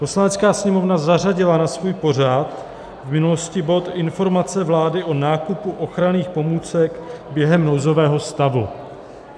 Poslanecká sněmovna zařadila na svůj pořad v minulosti bod Informace vlády o nákupu ochranných pomůcek během nouzového stavu.